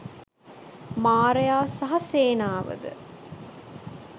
මාරයා සහ සේනාවද